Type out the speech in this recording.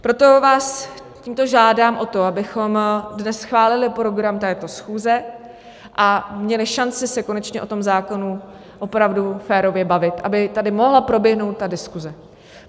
Proto vás tímto žádám o to, abychom dnes schválili program této schůze a měli šanci se konečně o tom zákonu opravdu férově bavit, aby tady mohla proběhnout ta diskuse.